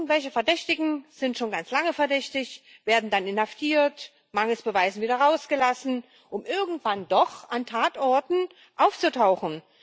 Irgendwelche Verdächtigen sind schon ganz lange verdächtig, werden dann inhaftiert, mangels Beweisen wieder rausgelassen, um irgendwann doch an Tatorten aufzutauchen.